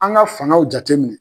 An ka fangaw jateminɛ.